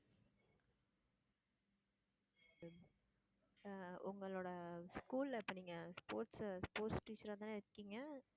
அஹ் உங்களோட school ல இப்ப நீங்க sports~sports teacher ஆ தான இருக்கீங்க?